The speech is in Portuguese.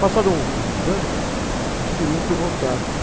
Passados alguns anos, eles queriam que eu voltasse.